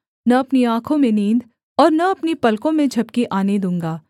न अपनी आँखों में नींद और न अपनी पलकों में झपकी आने दूँगा